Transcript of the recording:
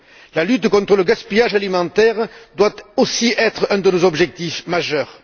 La lutte contre le gaspillage alimentaire doit aussi être un de nos objectifs majeurs.